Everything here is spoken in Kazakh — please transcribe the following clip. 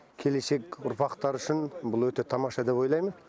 келешек ұрпақтар үшін бұл өте тамаша деп ойлаймын